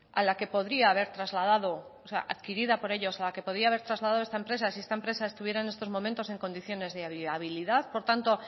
adquirida por ellos a la que podría haber trasladado esta empresa si esta empresa estuviera en estos momentos en condiciones de viabilidad por tanto